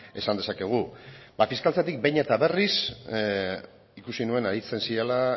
esan dezakegu fiskaltzatik behin eta berriz ikusi nuen aritzen zirela